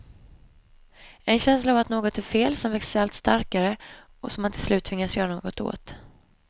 En känsla av att något är fel som växer sig allt starkare, och som man till slut tvingas göra något åt.